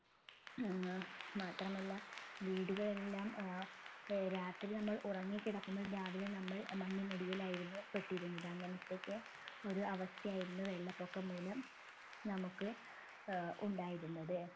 ഏർ മാത്രമല്ല വീടുകളെല്ലാം ഏർ വേ രാത്രി നമ്മൾ ഉറങ്ങിക്കിടക്കുന്നു രാവിലെ നമ്മൾ മണ്ണിനടിയിലായിരുന്നു പെട്ടിരുന്നത് അങ്ങനെതോക്കെ ഒരു അവസ്ഥയായിരുന്നു വെള്ളപൊക്കം മൂലം നമ്മുക്ക് ഏർ ഉണ്ടായിരുന്നത്